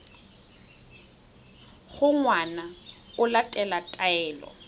gore ngwana o latela taelo